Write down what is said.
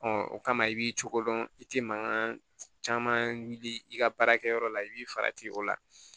o kama i b'i cogo dɔn i ti mankan caman wuli i ka baarakɛyɔrɔ la i b'i farati o la